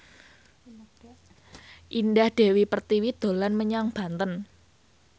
Indah Dewi Pertiwi dolan menyang Banten